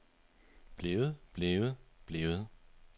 blevet blevet blevet